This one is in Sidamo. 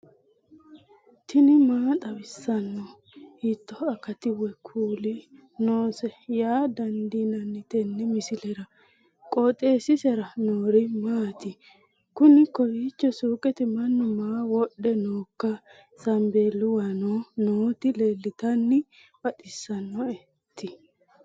tini maa xawissanno ? hiitto akati woy kuuli noose yaa dandiinanni tenne misilera? qooxeessisera noori maati? kuni kowiicho suuqete mannu maa wodhe nooikka sambeelluwano nooti leeltannoe baxissannoti